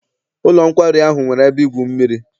Ụlọ nkwari ahụ nwere ebe igwu mmiri.